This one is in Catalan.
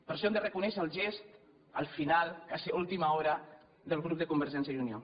per això hem de reconèixer el gest al final quasi a última hora del grup de convergència i unió